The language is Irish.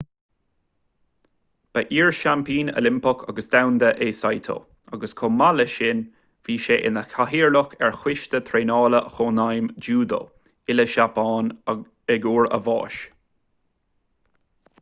ba iar-sheaimpín oilimpeach agus domhanda é saito agus chomh maith leis sin bhí sé ina chathaoirleach ar choiste traenála chónaidhm júdó uile-sheapáin ag uair a bháis